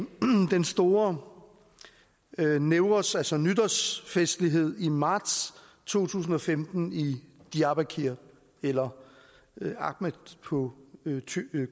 den store newroz altså nytårsfestlighed i marts to tusind og femten i diyarbakır eller amed på